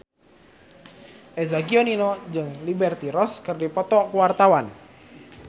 Eza Gionino jeung Liberty Ross keur dipoto ku wartawan